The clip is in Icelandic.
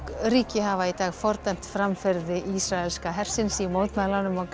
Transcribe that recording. ríki hafa í dag fordæmt framferði ísraelskra hersins í mótmælunum á